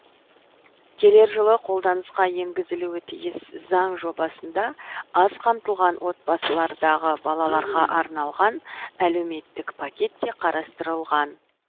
келер жылы қолданысқа енгізілуі тиіс заң жобасында аз қамтылған отбасылардағы балаларға арналған әлеуметтік пакет те қарастырылған